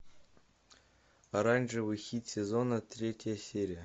оранжевый хит сезона третья серия